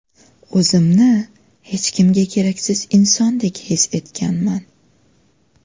O‘zimni hech kimga keraksiz insondek his etganman.